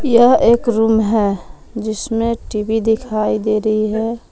यह एक रूम है जिसमें टी_वी दिखाई दे रही है।